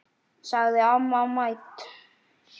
sagði amma mædd.